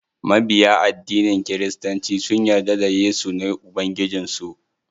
Mabiya addinin kiristanci sun yarda da yesu ne ubangijin su.